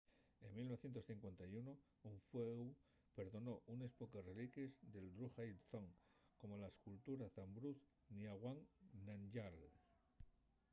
en 1951 un fueu perdonó unes poques reliquies de drukgyal dzong como la escultura de zhabdrung ngawang namgyal